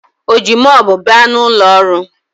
Ọ ji mopu baa n’ụlọọrụ?